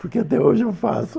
Porque até hoje eu faço.